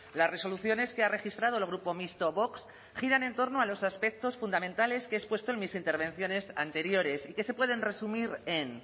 las resoluciones que ha registrado el grupo mixto vox giran en torno a los aspectos fundamentales que he expuesto en mis intervenciones anteriores y que se pueden resumir en